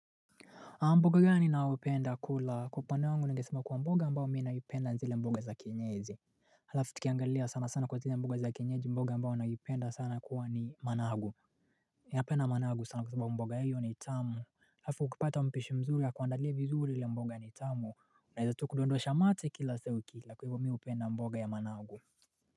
Mboga gani ninaopenda kula? Kwa upande wangu ningesema kuwa mboga ambayo mimi naipenda ni zile mboga za kenyeji Halafu tukiangalia sana sana kwa zile mboga za kenyeji, mboga ambayo naipenda sana kuwa ni managu. Mimi napenda managu sana kwa sababu mboga hiyo ni tamu. Halafu ukipata mpishi mzuri akuandalie vizuri ile mboga ni tamu. Unaweza tu kudondosha mate kila saa uki ila. Kwa hivyo mimi hupenda mboga ya managu.